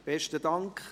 Besten Dank.